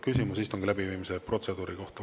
Küsimus istungi läbiviimise protseduuri kohta.